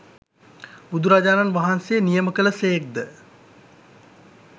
බුදුරජාණන් වහන්සේ නියම කළ සේක් ද?